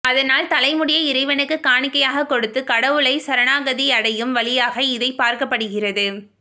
அதனால் தலைமுடியை இறைவனுக்கு காணிக்கையாக கொடுத்து கடவுளை சரணாகதி அடையும் வழியாக இதை பார்க்கப்படுகிறது